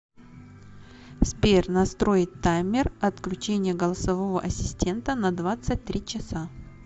сбер настроить таймер отключения голосового ассистента на двадцать три часа